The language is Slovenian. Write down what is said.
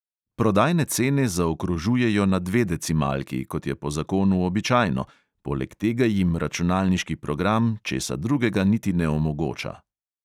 Prodajne cene zaokrožujejo na dve decimalki, kot je po zakonu običajno, poleg tega jim računalniški program česa drugega niti ne omogoča.